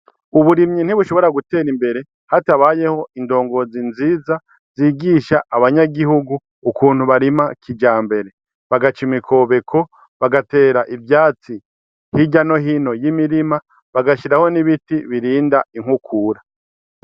Uburimyi ntibushobora gutera imbere hatabayeho indongozi nziza zigisha abanyagihugu ukuntu barima kija mbere bagaca imikobeko bagatera ivyatsi hirya no hino y'imirima bagashiraho n'ibiti birinda inkukura.